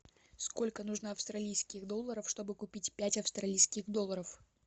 сколько нужно австралийских долларов чтобы купить пять австралийских долларов